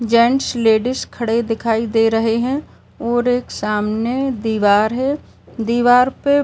Gents ladies खड़े दिखाई दे रहे हैं और एक सामने दीवार है। दीवार पे --